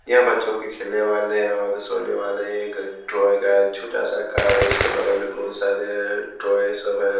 यहां बच्चों के खेलने वाले और सोने वाले एक ट्रॉय का छोटा सा कार है उसके बगल में बहुत सारे ट्रॉय सब हैँ।